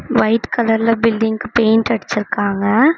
White கலர்ல பில்டிங்க்கு paint அடிச்சு இருக்காங்க.